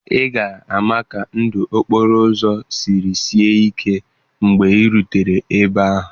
Ị ga-ama ka ndụ okporo ụzọ siri sie ike mgbe ị rutere ebe ahụ.